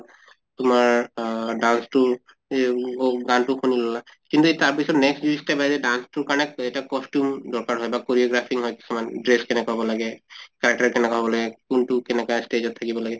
তোমাৰ আহ dance তোৰ গানটো শুনি লʼলা কিন্তু তাৰ পিছত next যিটো step আহে যে dance তোৰ কাৰণে এটা costume দৰকাৰ হয় বা choreographing হয় কিছুমান dress কেনেকা হʼল লাগে কেনকা হʼব লাগে কোনটো কেনেকা stage ত থাকিব লাগে